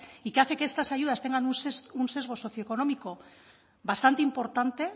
y que hace que estas ayudas tengan un sesgo socioeconómico bastante importante